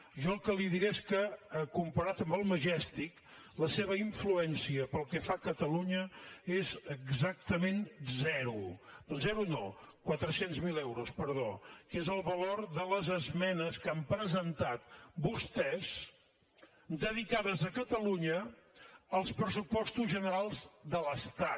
jo el que li diré és que comparat amb el majestic la seva influència pel que fa a catalunya és exactament zero zero no quatre cents miler euros perdó que és el valor de les esmenes que han presentat vostès dedicades a catalunya als pressupostos generals de l’estat